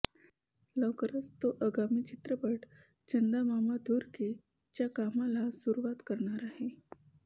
लवकरच तो आगामी चित्रपट चंदा मामा दूर के च्या कामाला सुरुवात करणार आहे